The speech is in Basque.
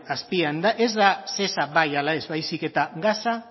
azpian ez da shesa bai ala ez baizik eta gasa